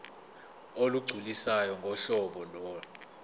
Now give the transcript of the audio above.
olugculisayo ngohlobo lo